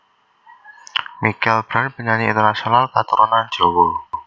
Michelle Branch Penyanyi internasional katurunan Jawa